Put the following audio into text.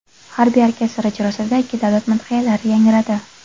Harbiy orkestr ijrosida ikki davlat madhiyalari yangradi.